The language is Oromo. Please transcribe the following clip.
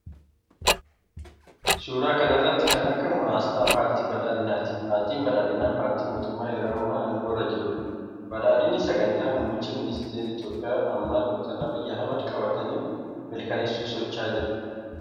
Suuraa kana irratti kan argamu aasxaa paartii badhaadhinaati. Paartiin badhaadhinaa paartii mootummaa yeroo ammaa aangoo irra jirudha. Badhaadhinni sagantaa muummichi ministeera Itoophiyaa ammaa Dr. Abiy Ahimad qabatanii milkeessuuf socho'aa jiranidha.